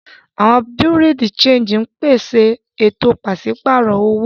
Awọn Bureau-de-Chanjí ǹpéṣè awọn ètò pàṣipárọ̀ owo